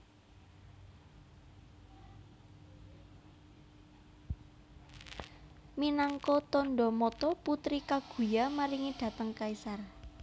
Minangka tandha mata Putri Kaguya maringi dhateng kaisar